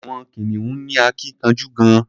Àwọn kìnìún ní akínkanjú gan-an.